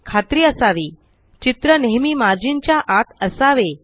खात्री असावी चित्र नेहेमी मार्जिन च्या आत असावे